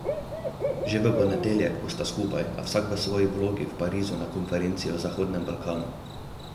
Že v ponedeljek bosta skupaj, a vsak v svoji vlogi v Parizu na konferenci o Zahodnem Balkanu.